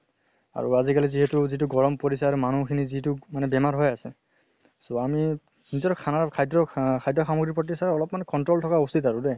আৰু আজি কালি যিহেতু যিটো গৰম পৰিছে আৰু মানুহ খিনি যিটো মানে বেমাৰ হৈ আছে। so আমি খানাৰ খাদ্য়ৰ আহ খাদ্য় সাম্গ্ৰি ৰ্প্ৰতি sir অলপ্মান control থকা উচিত আৰু দে